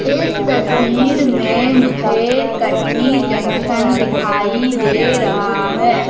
इस तस्वीर में मुझे कटनी जंक्शन दिखाई दे रहा है।